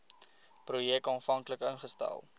projek aanvanklik ingestel